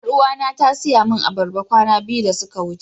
Yaruwa na ta siya min albarba kwana biyu da sun wuce.